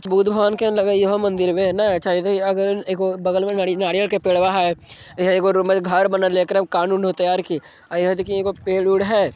बुद्ध भगवान के लगइह इहो मंदिर वे है ना अच्छा इधर अगर एगो बगल में नारियल के पेड़वा है वह एगो रूम में घर बनल है एकरे में कांड उनड होते अउर की अ इहा देखि ईगो पेड़ उड़ है।